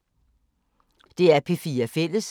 DR P4 Fælles